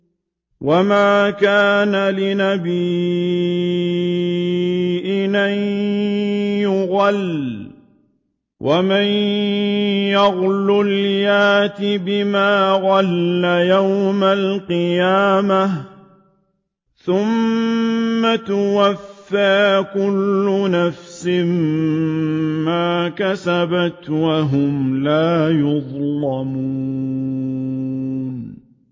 وَمَا كَانَ لِنَبِيٍّ أَن يَغُلَّ ۚ وَمَن يَغْلُلْ يَأْتِ بِمَا غَلَّ يَوْمَ الْقِيَامَةِ ۚ ثُمَّ تُوَفَّىٰ كُلُّ نَفْسٍ مَّا كَسَبَتْ وَهُمْ لَا يُظْلَمُونَ